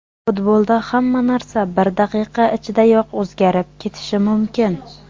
Futbolda hamma narsa bir daqiqa ichidayoq o‘zgarib ketishi mumkin.